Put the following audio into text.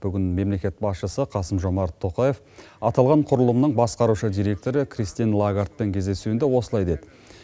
бүгін мемлекет басшысы қасым жомарт тоқаев аталған құрылымның басқарушы директоры кристин лагардпен кездесуінде осылай деді